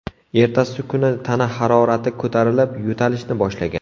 Ertasi kuni tana harorati ko‘tarilib, yo‘talishni boshlagan.